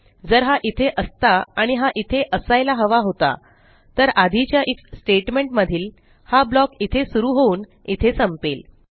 जर हा इथे असता आणि हा इथे असायला हवा होता तर आधीच्या आयएफ statementमधील हा ब्लॉक इथे सुरू होऊन इथे संपेल